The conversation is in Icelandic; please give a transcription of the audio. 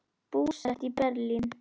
Búsett í Berlín.